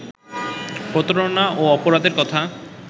প্রতারণা ও অপরাধের কথা